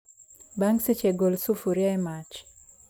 Bang' seche, gol sufria e mach